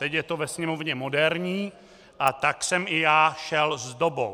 Teď je to ve Sněmovně moderní, a tak jsem i já šel s dobou.